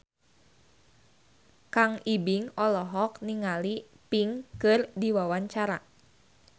Kang Ibing olohok ningali Pink keur diwawancara